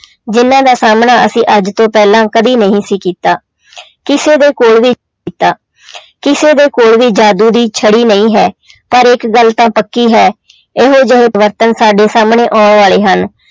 ਜਿਹਨਾਂ ਦਾ ਸਾਹਮਣਾ ਅਸੀਂ ਅੱਜ ਤੋਂ ਪਹਿਲਾਂ ਕਦੇ ਨਹੀਂ ਸੀ ਕੀਤਾ ਕਿਸੇ ਦੇ ਕੋਲ ਵੀ ਕੀਤਾ ਕਿਸੇ ਦੇ ਕੋਲ ਵੀ ਜਾਦੂ ਦੀ ਛੜੀ ਨਹੀਂ ਹੈ ਪਰ ਇੱਕ ਗੱਲ ਤਾਂ ਪੱਕੀ ਹੈ ਇਹੋ ਜਿਹੇ ਪਰਿਵਰਤਨ ਸਾਡੇ ਸਾਹਮਣੇ ਆਉਣ ਵਾਲੇ ਹਨ,